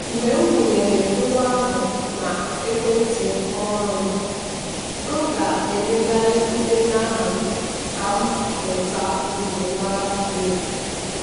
mgbe m wụnyegharịrị ngwa ahụ na ekwentị ọhụrụ m m ga-emegharị ndenye aha m ka m nweta njimara dị elu.